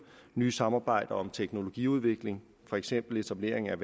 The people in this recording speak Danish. nye samarbejder om teknologiudvikling for eksempel etablering af